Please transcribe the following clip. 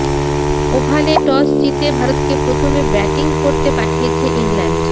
ওভালে toss জিতে ভারতকে প্রথমে ব্যাটিং করতে পাঠিয়েছে ইংল্যান্ড